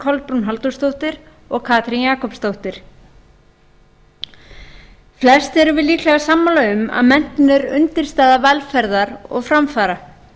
kolbrún halldórsdóttir og katrín jakobsdóttir flest erum við líklega sammála um að menntun er undirstaða velferðar og framfara